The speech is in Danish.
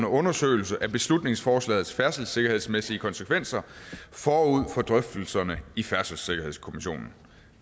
undersøgelse af beslutningsforslagets færdselssikkerhedsmæssige konsekvenser forud for drøftelserne i færdselssikkerhedskommissionen